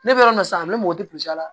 Ne bɛ yɔrɔ min na sisan a bɛ mɔgɔ te la